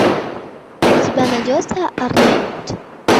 у тебя найдется арлетт